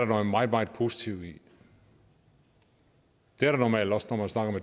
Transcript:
noget meget meget positivt i det er der normalt også når man snakker